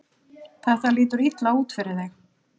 Þetta lítur illa út fyrir þig